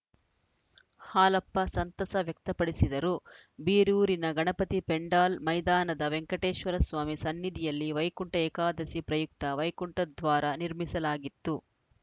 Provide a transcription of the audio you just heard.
ಹಾಲಪ್ಪ ಸಂತಸ ವ್ಯಕ್ತಪಡಿಸಿದರು ಬೀರೂರಿನ ಗಣಪತಿ ಪೆಂಡಾಲ್‌ ಮೈದಾನದ ವೆಂಕಟೇಶ್ವರ ಸ್ವಾಮಿ ಸನ್ನಿಧಿಯಲ್ಲಿ ವೈಕುಂಠ ಏಕಾದಶಿ ಪ್ರಯುಕ್ತ ವೈಕುಂಠದ್ವಾರ ನಿರ್ಮಿಸಲಾಗಿತ್ತು